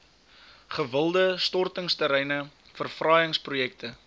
gewilde stortingsterreine verfraaiingsprojekte